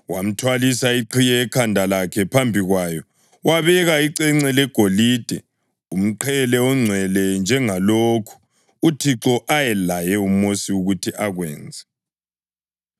Wamthwalisa iqhiye ekhanda lakhe, phambi kwayo wabeka icence legolide, umqhele ongcwele, njengalokhu uThixo ayelaye uMosi ukuthi akwenze.